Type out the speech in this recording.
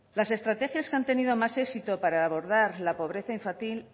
las estrategias que han tenido más éxito para abordar la pobreza